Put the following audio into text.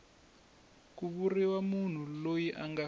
ku vuriwa munhu loyi anga